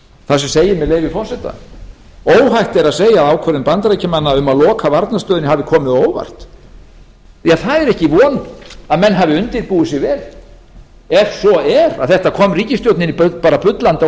segir með leyfi forseta óhætt er að segja að ákvörðun bandaríkjamanna um að loka varnarstöðinni hafi komið á óvart ja það er ekki von að menn hafi undirbúið sig vel ef svo er að þetta kom ríkisstjórninni bara bullandi á